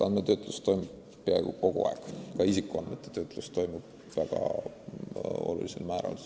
Andmetöötlus toimub peaaegu kogu aeg, sh ka isikuandmete töötlus.